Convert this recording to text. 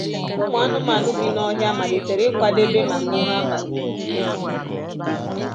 Ụmụ anụmanụ bi n’ọhịa malitere ịkwadebe maka ụra abalị